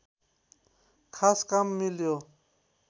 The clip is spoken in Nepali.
खास काम मिल्यो